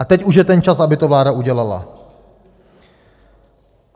A teď už je ten čas, aby to vláda udělala.